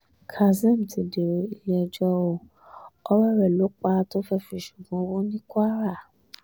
kazeem ti dèrò ilé-ẹjọ́ ó ọ̀rẹ́ rẹ̀ ló pa tó fẹ́ẹ́ fi ṣoògùn owó ní kwara